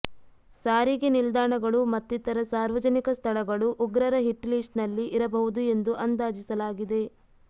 ಸಾರಿಗೆ ನಿಲ್ದಾಣಗಳು ಮತ್ತಿತರ ಸಾರ್ವಜನಿಕ ಸ್ಥಳಗಳು ಉಗ್ರರ ಹಿಟ್ ಲಿಸ್ಟ್ ನಲ್ಲಿ ಇರಬಹುದು ಎಂದು ಅಂದಾಜಿಸಲಾಗಿದೆ